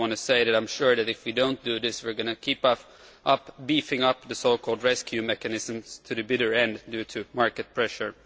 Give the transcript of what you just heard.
I only want to say that I am sure that if we do not do this we are going to keep beefing up the so called rescue mechanisms to the bitter end, due to market pressure.